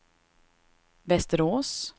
Västerås